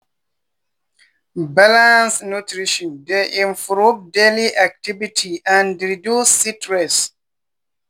balanced nutrition dey improve daily activity and reduce stress.